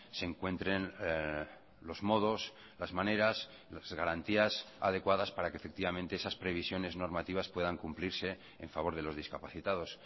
se encuentren los modos las maneras las garantías adecuadas para que efectivamente esas previsiones normativas puedan cumplirse en favor de los discapacitados